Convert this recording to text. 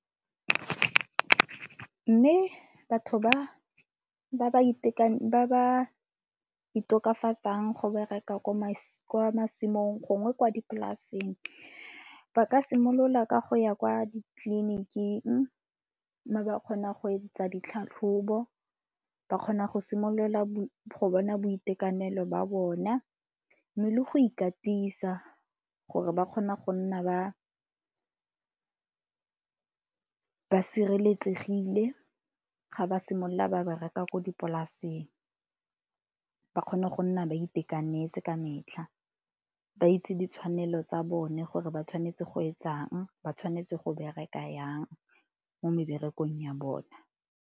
Mme batho ba ba ba itokafatsang go bereka kwa masimong gongwe kwa dipolaseng. Ba ka simolola ka go ya kwa ditleliniking mme ba kgona go etsa ditlhatlhobo, ba kgona go simolola go bona boitekanelo ba bona mme le go ikatisa gore ba kgona go nna ba ba sireletsegile ga ba simolola ba ba reka ko dipolaseng. Ba kgone go nna ba itekanetse ka metlha, ba itse ditshwanelo tsa bone gore ba tshwanetse go etsang, ba tshwanetse go bereka yang mo meberekong ya bona.